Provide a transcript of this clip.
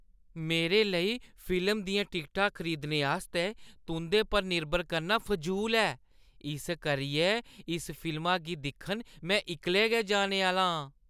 मेरे लेई फिल्म दियां टिकटां खरीदने आस्तै तुंʼदे पर निर्भर करना फजूल ऐ, इस करियै इस फिल्मा गी दिक्खन में इक्कलै गै जाने आह्‌ला आं।